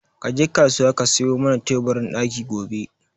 Ka je kasuwa ka sayo mana teburin ɗaki gobe